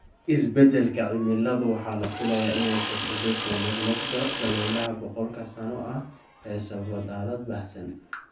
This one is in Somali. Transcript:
Isbeddelka cimiladu waxa la filayaa inay kordhiso soo noqnoqda "dabaylaha boqolka sano ah" ee sababa daadad baahsan.